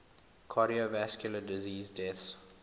cardiovascular disease deaths